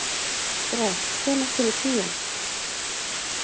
Grethe, hvenær kemur tían?